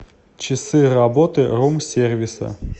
часы работы рум сервиса